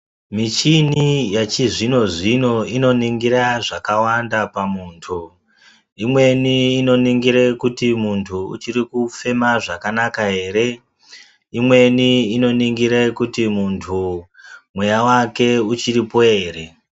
Michini yachizvinzvinozvino inoningira zvakawanda pamuntu imweni inoningire kuti muntu uchiri kufema zvakanaka ere imweni inoningira kuti muntu mweya wake uchiripo ere.